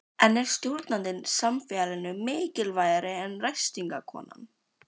En er stjórnandinn samfélaginu mikilvægari en ræstingakonan?